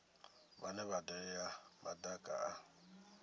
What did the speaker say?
vhane vha dalela madaka a